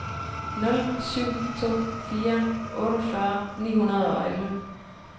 nul syv to fire otteogfyrre ni hundrede og elleve